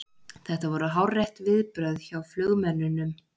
Þetta voru hárrétt viðbrögð hjá flugmönnunum